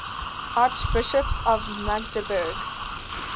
archbishops of magdeburg